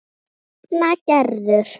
Þín nafna Gerður.